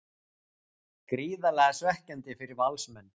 Gríðarlega svekkjandi fyrir Valsmenn